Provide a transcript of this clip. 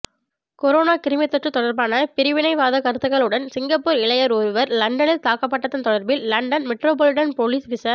corona கிருமித்தொற்று தொடர்பான பிரிவினைவாத கருத்துகளுடன் சிங்கப்பூர் இளையர் ஒருவர் லண்டனில் தாக்கப்பட்டதன் தொடர்பில் லண்டன் மெட்ரோபோலிட்டன் போலிஸ் விச